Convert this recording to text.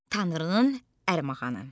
Tanrının Ərmağanı.